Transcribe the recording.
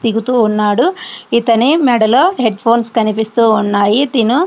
దిగుతూ ఉన్నాడు ఇతని మెడలో హెడ్ ఫోన్స్ కనిపిస్తూ ఉన్నాయి తిను --